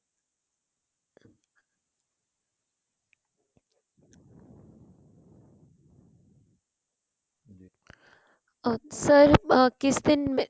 ਆਹ sir ਕਿਸ ਦਿਨ